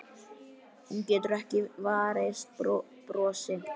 Hún getur ekki varist brosi.